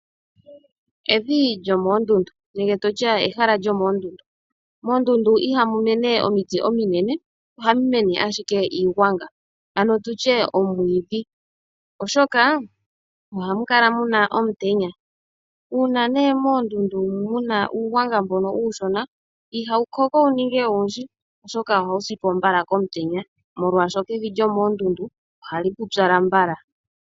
Evi lyomoondundu nenge ehala lyomoondundu Moondundu ihamu mene omiti ominene, ohamu mene owala iigwanga nenge tu tye omwiidhi, oshoka ohamu kala mu na omutenya. Uuna moondundu mu na uugwanga mboka uushona ihawu koko wu ninge owundji, oshoka ohawu si po mbala komutenya, molwashoka evi lyomoondundu ohali pupyala mbala.